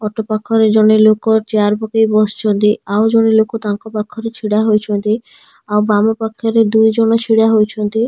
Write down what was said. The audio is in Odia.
ଅଟୋ ପାଖରେ ଜଣେ ଲୋକ ଚେୟାର ପକେଇ ବସିଛନ୍ତି ଆଉ ଜଣେ ଲୋକ ତାଙ୍କ ପାଖରେ ଛିଡ଼ା ହୋଇଛନ୍ତି ଆଉ ବାମ ପାଖରେ ଦୁଇଜଣ ଛିଡ଼ା ହୋଇଛନ୍ତି ଆଉ--